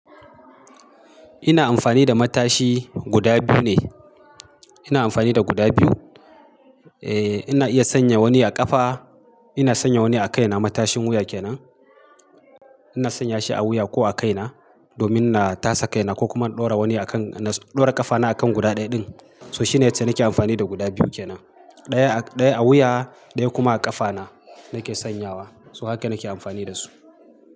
Ina amfani da matashi guda biyu ne. Ina amfani da guda biyu. Eh ina iya sanya wani a ƙafa, ina sanya wani a kai na matashin wuya kenan. Ina sanya shi a wuya ko a kai na domin na tasa kai na ko kuma na ɗora wani a kan, na ɗora ƙafa na a kan guda ɗaya din. So shine yace nake amfani da guda biyu kenan. Ɗaya a, ɗaya a wuya, ɗaya kuma a ƙafa na nake sanyawa. So haka nake amfani da su.